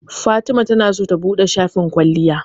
Fatima tana so ta buɗe shafin kwalliya.